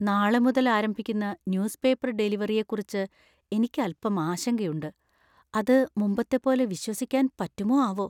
നാളെ മുതൽ ആരംഭിക്കുന്ന ന്യൂസ് പേപ്പർ ഡെലിവറിയെക്കുറിച്ച് എനിക്ക് അൽപ്പം ആശങ്കയുണ്ട്. അത് മുമ്പത്തെപ്പോലെ വിശ്വസിക്കാൻ പറ്റുമോ ആവോ ?